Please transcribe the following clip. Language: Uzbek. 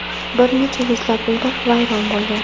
Bir necha yuzlab uylar vayron bo‘lgan.